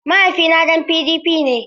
Mahaifina ɗan PDP ne.